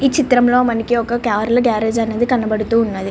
ఈ చిత్రం లో మనకి ఒక కార్ల గ్యారేజ్ అనేది కనపడుతూ ఉన్నది.